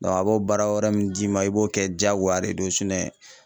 a b'o baara wɛrɛ min d'i ma i b'o kɛ jaagoya de do